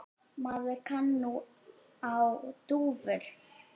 Maður kann nú á dúfur!